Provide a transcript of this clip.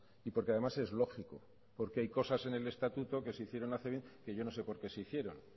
y porque además es lógico porque hay cosas en el estatuto que se hicieron hacer que yo no sé por qué se hicieron